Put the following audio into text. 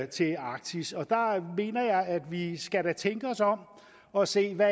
til arktis og der mener jeg at vi da skal tænke os om og se hvad